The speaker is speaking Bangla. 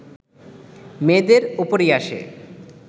মেয়েদের ওপরই আসে